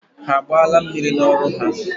Ha agbaala mmiri n'ọrụ ha?